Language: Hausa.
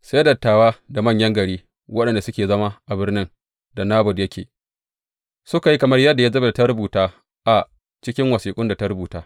Sai dattawa da manyan gari, waɗanda suke zama a birnin da Nabot yake, suka yi kamar yadda Yezebel ta umarta a cikin wasiƙun da ta rubuta.